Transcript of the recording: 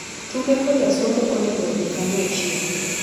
Tuke koda somo onego odhi kanyachiel.